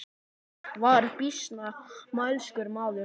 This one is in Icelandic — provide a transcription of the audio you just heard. Hann var býsna mælskur maður.